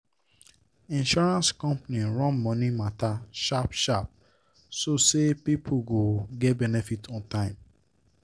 insurance company run money matter sharp sharp so say people go get benefit on time.